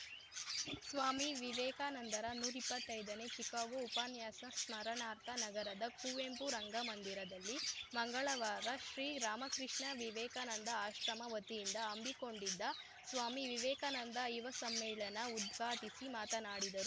ಸ್ವಾಮಿ ವಿವೇಕಾನಂದರ ನೂರಿಪ್ಪತ್ತೈದನೇ ಚಿಕಾಗೋ ಉಪನ್ಯಾಸ ಸ್ಮರಣಾರ್ಥ ನಗರದ ಕುವೆಂಪು ರಂಗಮಂದಿರದಲ್ಲಿ ಮಂಗಳವಾರ ಶ್ರೀ ರಾಮಕೃಷ್ಣ ವಿವೇಕಾನಂದ ಆಶ್ರಮ ವತಿಯಿಂದ ಹಮ್ಮಿಕೊಂಡಿದ್ದ ಸ್ವಾಮಿ ವಿವೇಕಾನಂದ ಯುವ ಸಮ್ಮೇಳನ ಉದ್ಘಾಟಿಸಿ ಮಾತನಾಡಿದರು